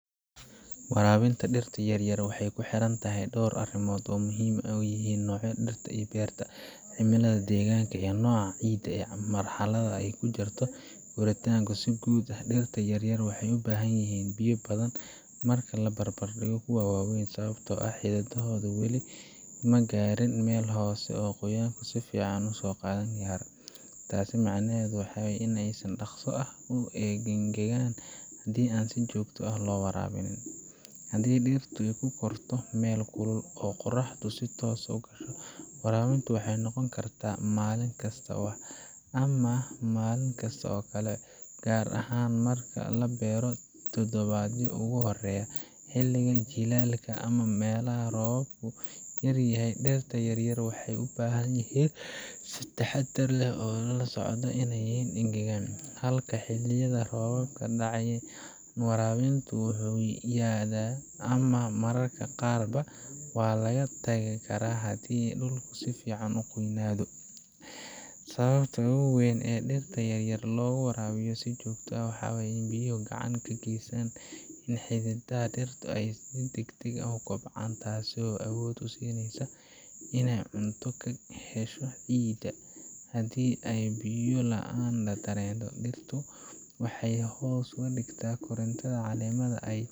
Warabinta dhirta yaryar waxay ku xiran tahay dhowr arrimood oo ay ugu muhiimsan yihiin nooca dhirta la beertay, cimilada deegaanka, nooca ciidda, iyo marxaladda ay ku jirto korriinkoodu. Si guud ah, dhirta yaryar waxay u baahan yihiin biyo badan marka loo barbardhigo kuwa waaweyn, sababtoo ah xididadoodu weli ma gaadhin meel hoose oo qoyaanku si fiican ugu kaydsan yahay. Taas macnaheedu waa in ay si dhakhso ah u engegaan haddii aan si joogto ah loo waraabin. Haddii dhirtu ku korto meel kulul oo qorraxdu si toos ah u gasho, warabintu waxay noqon kartaa maalin kasta ama maalin kasta oo kale, gaar ahaan marka la beero toddobaadyadii ugu horreeyay. Xilliga jiilaalka ama meelaha roobku yaryahay, dhirta yaryar waxay u baahan yihiin in si taxaddar leh loo la socdo si aanay u engegin. Halka xilliyada ay roobab dhacayaan, waraabintu wuu yaraadaa ama mararka qaarba waa laga tagi karaa, haddii dhulku si fiican u qoyaamay. Sababta ugu weyn ee dhirta yaryar looga warabiyo si joogto ah waa in biyuhu ay gacan ka geystaan in xididdada dhirtu ay si degdeg ah u kobcaan, taasoo awood u siinaysa in ay cunto ka hesho ciidda. Haddii ay biyo la’aan dareento, dhirtu waxay hoos u dhigtaa korriinteeda, caleemaha